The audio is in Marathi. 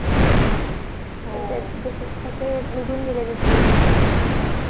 हो त्यात कसे निगुन गेले ते दिवस